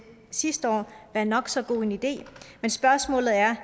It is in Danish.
sidste år være nok så god en idé men spørgsmålet er